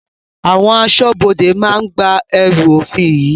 Àwọn aṣọ́bodè máa gba ẹrú òfin yìí